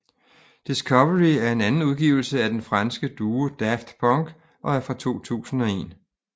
Discovery er anden udgivelse af den franske duo Daft Punk og er fra 2001